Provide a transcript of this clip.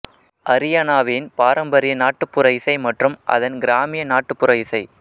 அரியானாவின் பாரம்பரிய நாட்டுப்புற இசை மற்றும் அதன் கிராமிய நாட்டுப்புற இசை